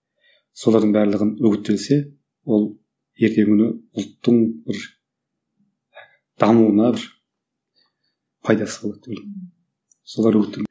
солардың барлығын үгіттелсе ол ертеңгі күні ұлттың бір дамуына бір пайдасы болады деп ойлаймын